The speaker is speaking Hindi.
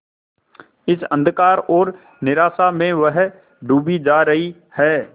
इस अंधकार और निराशा में वह डूबी जा रही है